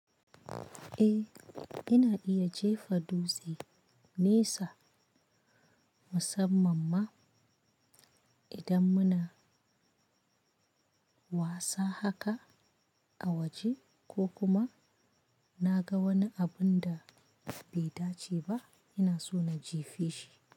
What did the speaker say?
Eh, ina iya jefa dutse nesa musamman ma idan muna wasa haka a waje ko kuma na ga wani abun da bai dace ba ina so na jefe shi.